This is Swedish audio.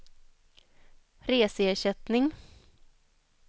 reseersättning